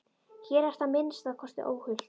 Hér ertu að minnsta kosti óhult.